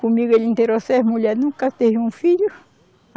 Comigo ele interou seis mulher, nunca teve um filho.